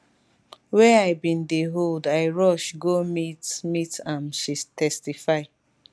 wey i bin dey hold i rush go meet meet am she testify